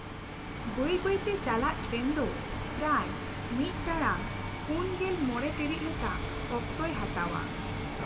ᱵᱟᱹᱭ ᱵᱟᱹᱭ ᱛᱮ ᱪᱟᱞᱟᱜ ᱴᱨᱮᱱ ᱫᱚ ᱯᱨᱟᱭ ᱢᱤᱫ ᱴᱟᱲᱟᱝ ᱔᱕ ᱴᱤᱲᱤᱡ ᱞᱮᱠᱟ ᱚᱠᱛᱚᱭ ᱦᱟᱛᱟᱣᱟ ᱾